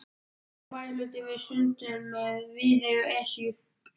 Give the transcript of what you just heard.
Allur bæjarhlutinn við sundin með Viðey og Esju